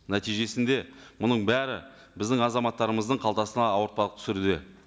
нәтижесінде мұның бәрі біздің азаматтарымыздың қалтасына ауыртпалық түсіруде